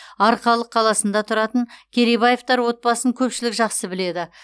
арқалық қаласында тұратын керейбаевтар отбасын көпшілік жақсы біледі